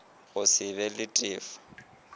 go se be le tefo